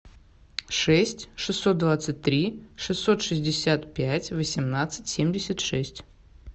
шесть шестьсот двадцать три шестьсот шестьдесят пять восемнадцать семьдесят шесть